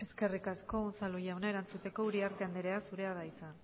eskerrik asko unzalu jauna erantzuteko uriarte andrea zurea da hitza